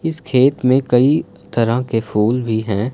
इस खेत में कई तरह के फूल भी हैं।